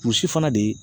Muso fana de